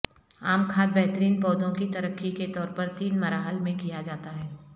عام کھاد بہترین پودوں کی ترقی کے طور پر تین مراحل میں کیا جاتا ہے